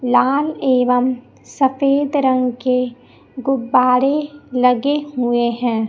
लाल एवं सफेद रंग के गुब्बारे लगे हुए हैं।